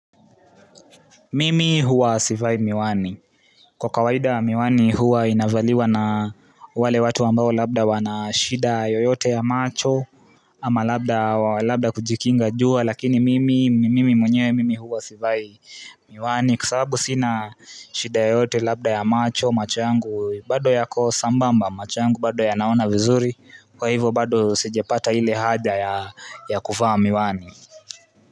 Mimi huwa sivai miwani. Kwa kawaida miwani huwa inavaliwa na wale watu ambao labda wana shida yoyote ya macho ama labda kujikinga jua lakini mimi mwenye mimi huwa sivai miwani kwasababu sina shida yoyote labda ya macho macho yangu bado yako sambamba macho bado ya naona vizuri kwa hivyo bado sijapata hile haja ya kuvaa miwani.